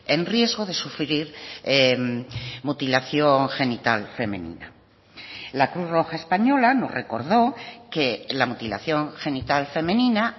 en riesgo de sufrir mutilación genital femenina la cruz roja española nos recordó que la mutilación genital femenina